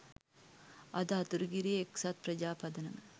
අද අතුරුගිරිය එක්සත් ප්‍රජා පදනම